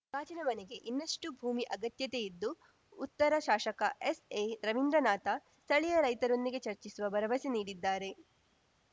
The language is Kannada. ಗಾಜಿನ ಮನೆಗೆ ಇನ್ನಷ್ಟುಭೂಮಿ ಅಗತ್ಯತೆ ಇದ್ದು ಉತ್ತರ ಶಾಸಕ ಎಸ್‌ಎ ರವೀಂದ್ರನಾಥ ಸ್ಥಳೀಯ ರೈತರೊಂದಿಗೆ ಚರ್ಚಿಸುವ ಭರವಸೆ ನೀಡಿದ್ದಾರೆ